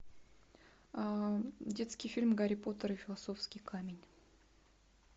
детский фильм гарри поттер и философский камень